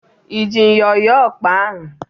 I ji myọ yọọ ọkpa ahụ?